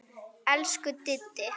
Elsku Diddi.